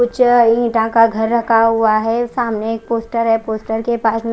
कुछ ईटा का घर रखा हुआ है सामने एक पोस्टर है पोस्टर के पास में--